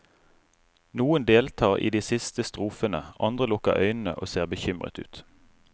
Noen deltar i de siste strofene, andre lukker øynene og ser bekymret ut.